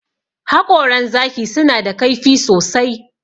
Haƙoran zaki suna da kaifi sosai.